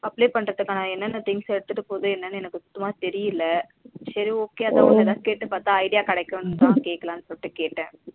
Apply பண்றதுக்கான என்னன்ன things எடுத்துட்டு போறது என்னனு எனக்கு சுத்தமா தெரியல சரி okay அத உன்ன கேட்டு பாத்த idea கிடைக்கும் தா கேட்கலாம் சொல்லிட்டு கேட்ட